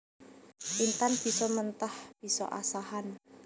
Intan bisa mentah bisa asahan